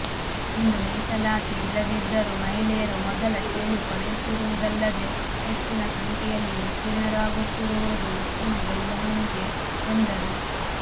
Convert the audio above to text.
ಇಂದು ಮೀಸಲಾತಿ ಇಲ್ಲದಿದ್ದರು ಮಹಿಳೆಯರು ಮೊದಲ ಶ್ರೇಣಿ ಪಡೆಯುತ್ತಿರುವುದಲ್ಲದೆ ಹೆಚ್ಚಿನ ಸಂಖ್ಯೆಯಲ್ಲಿ ಉತ್ತೀರ್ಣರಾಗುತ್ತಿರುವುದು ಉತ್ತಮ ಬೆಳವಣಿಗೆ ಎಂದರು